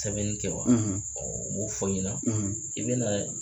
Sɛbɛnni kɛ wa n b'o fɔ i ɲɛna i bɛ na